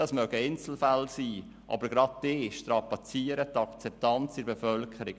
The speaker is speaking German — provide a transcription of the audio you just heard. Das mögen Einzelfälle sein, aber gerade sie strapazieren die Akzeptanz bei der Bevölkerung.